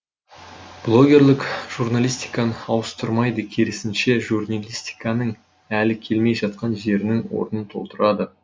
блогерлік журналистканы ауыстырмайды керісінше журналистканың әлі келмей жатқан жерінің орнын толтырады